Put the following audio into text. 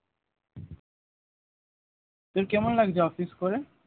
তোর কেমন লাগছে office করে?